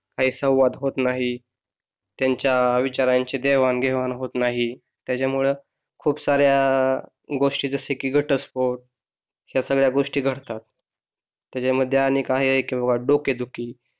काही संवाद होत नाही त्यांच्या विचारांची देवाण घेवाण होत नाही त्यामुळे खूप साऱ्या गोष्टी घटस्फोट सगळ्या गोष्टी घडतात त्याच्या मध्ये अनेक कारणे आहेत किंवा डोकेदुखी,